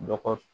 Dɔgɔ